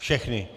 Všechny.